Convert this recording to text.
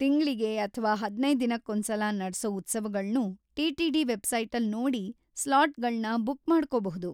ತಿಂಗ್ಳಿಗೆ ಅಥ್ವಾ ಹದ್ನೈದ್ ದಿನಕ್ಕೊಂದ್ಸಲ ನಡ್ಸೋ ಉತ್ಸವಗಳ್ನೂ ಟಿ.ಟಿ.ಡಿ. ವೆಬ್ಸೈಟಲ್‌ ನೋಡಿ ಸ್ಲಾಟ್‌ಗಳ್ನ ಬುಕ್‌ ಮಾಡ್ಕೋಬಹುದು.